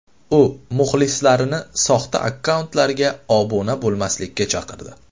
U muxlislarini soxta akkauntlarga obuna bo‘lmaslikka chaqirdi.